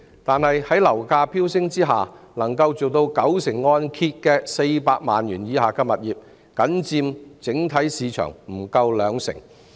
但是，在樓價飆升的情況下，能夠做到九成按揭的400萬元以下物業僅佔整體市場不足兩成。